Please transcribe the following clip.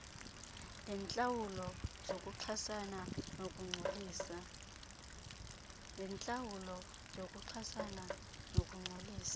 leentlawulo zokuchasana nokungcolisa